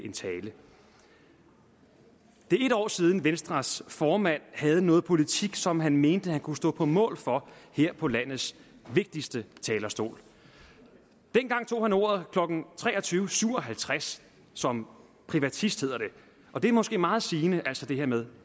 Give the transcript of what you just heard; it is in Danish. en tale det er en år siden venstres formand havde noget politik som han mente han kunne stå på mål for her på landets vigtigste talerstol dengang tog han ordet klokken tre og tyve syv og halvtreds som privatist hedder det og det er måske meget sigende altså det her med